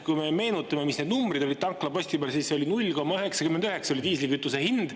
Kui me meenutame, mis need numbrid olid tanklaposti peal, siis 0,99 oli diislikütuse hind.